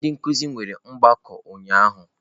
Ndị nkuzi nwere ọgbakọ ụnyahụ.